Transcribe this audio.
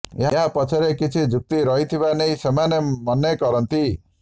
ଏହା ପଛରେ କିଛି ଯୁକ୍ତି ରହିଥିବା ନେଇ ସେମାନେ ମନେ କରନ୍ତି